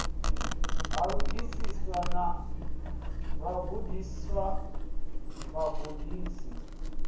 ha vhagudisi na vhagudiswa vhagudisi